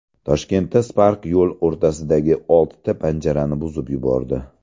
Toshkentda Spark yo‘l o‘rtasidagi oltita panjarani buzib yubordi.